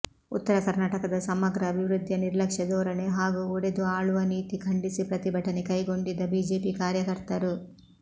ಉತ್ತರ ಕರ್ನಾಟಕದ ಸಮಗ್ರ ಅಭಿವೃದ್ಧಿಯ ನಿರ್ಲಕ್ಷ್ಯ ಧೋರಣೆ ಹಾಗೂ ಒಡೆದು ಆಳುವ ನೀತಿ ಖಂಡಿಸಿ ಪ್ರತಿಭಟನೆ ಕೈಗೊಂಡಿದ್ದ ಬಿಜೆಪಿ ಕಾರ್ಯಕರ್ತರು